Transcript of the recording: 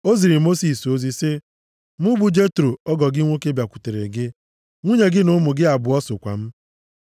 O ziri Mosis ozi sị, “Mụ bụ Jetro ọgọ gị nwoke bịakwutere gị, nwunye gị na ụmụ gị abụọ sokwa m.”